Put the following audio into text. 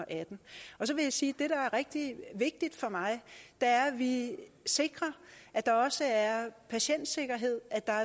og atten så vil jeg sige at rigtig vigtigt for mig er at vi sikrer at der også er patientsikkerhed at der